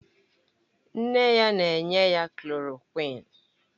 Nne ya na-enye ya klòròkwịn